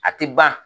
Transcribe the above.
A ti ban